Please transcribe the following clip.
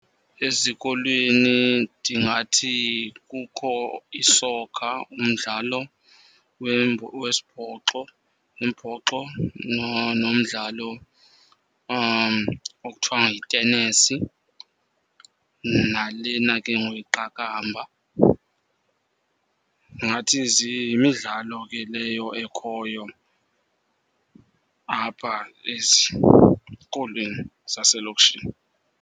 Ezikolweni ndingathi kukho isokha, umdlalo wesibhoxo, umbhoxo nomdlalo okuthiwa yitenesi, nalena ke ngoku iqakamba. Ndingathi yimidlalo ke leyo ekhoyo apha ezikolweni zaselokishini.